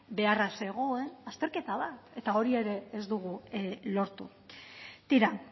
beharra zegoen azterketa bat eta hori ere ez dugu lortu tira